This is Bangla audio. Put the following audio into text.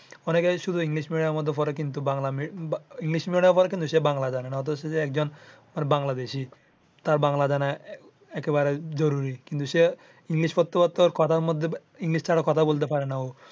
অনেকে শুধু ইংলিশ মিডিয়ামে মধ্যে পড়ে কিন্তু সে বাংলা জানেনা অথচ সে একজন বাংলাদেশী বাংলা জানা একেবারে জরুরি কিন্তু সে ইংলিশ পড়তে পড়তে কথার মধ্যে ইংলিশ ছাড়া কথা বলতে পারে না ও